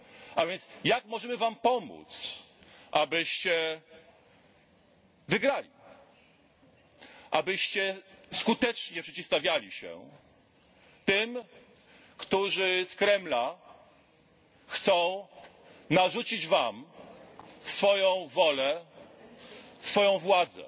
A więc jak możemy Wam pomóc, abyście wygrali, abyście skutecznie przeciwstawiali się tym, którzy z Kremla chcą narzucić Wam swoją wolę, swoją władzę.